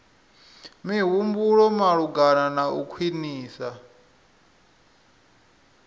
mihumbulo malugana na u khwinisa